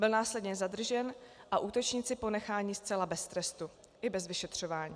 Byl následně zadržen a útočníci ponecháni zcela bez trestu i bez vyšetřování.